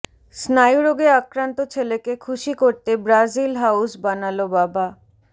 স্নায়ুরোগে আক্রান্ত ছেলেকে খুশি করতে ব্রাজিল হাউজ বানালো বাবা